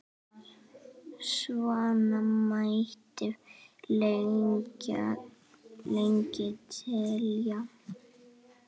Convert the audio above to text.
Svona mætti lengi telja.